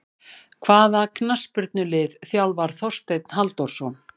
Hvaða knattspyrnulið þjálfar Þorsteinn Halldórsson?